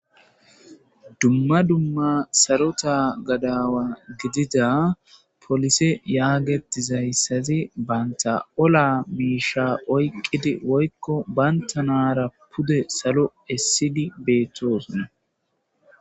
dumma dumma sarota gadawa gidida polise yaagettizayssazi banta ola miisha oyqqidi woykko bayntanara pude salo essidi beettosona